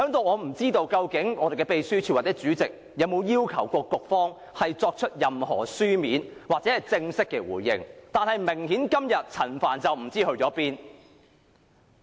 我不知道究竟立法會秘書處或主席，有否要求局長作書面或正式回應，但明顯地，陳帆今天不知所終。